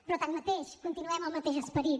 però tanmateix continuem el mateix esperit